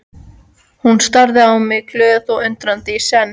Hún starði á mig glöð og undrandi í senn.